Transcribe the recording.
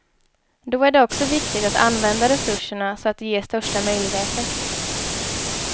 Då är det också viktigt att använda resurserna så att de ger största möjliga effekt.